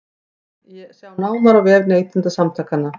Sjá nánar á vef Neytendasamtakanna